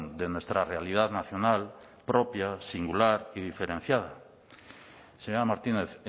de nuestra realidad nacional propia singular y diferenciada señora martínez